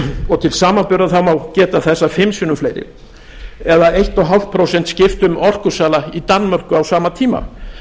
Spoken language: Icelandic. og til samanburðar má geta þess að fimm sinnum fleiri eða eins og hálft prósent skiptu um orkusala í danmörku á sama tíma